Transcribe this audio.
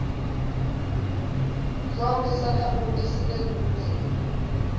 sonkhe sakhamuti sinelilungelo